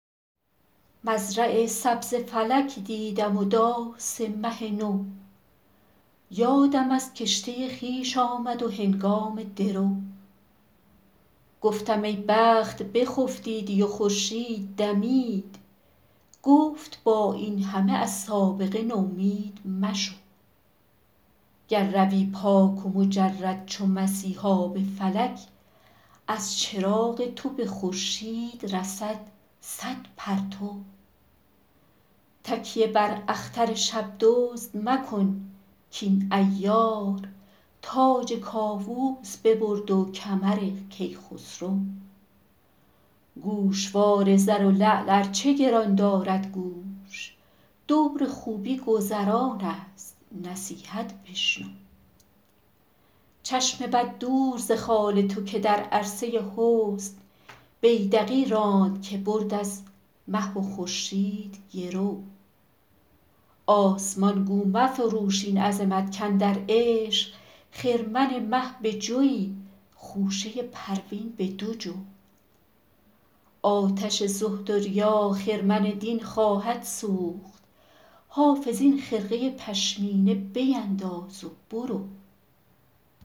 مزرع سبز فلک دیدم و داس مه نو یادم از کشته خویش آمد و هنگام درو گفتم ای بخت بخفتیدی و خورشید دمید گفت با این همه از سابقه نومید مشو گر روی پاک و مجرد چو مسیحا به فلک از چراغ تو به خورشید رسد صد پرتو تکیه بر اختر شب دزد مکن کاین عیار تاج کاووس ببرد و کمر کیخسرو گوشوار زر و لعل ار چه گران دارد گوش دور خوبی گذران است نصیحت بشنو چشم بد دور ز خال تو که در عرصه حسن بیدقی راند که برد از مه و خورشید گرو آسمان گو مفروش این عظمت کاندر عشق خرمن مه به جوی خوشه پروین به دو جو آتش زهد و ریا خرمن دین خواهد سوخت حافظ این خرقه پشمینه بینداز و برو